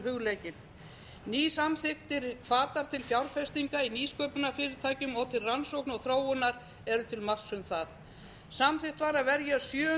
hugleikinn nýsamþykktir hvatar til fjárfestinga í nýsköpunarfyrirtækjum og til rannsókna og þróunar eru til marks um það samþykkt var að verja sjö